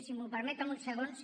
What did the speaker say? si m’ho permet amb uns segons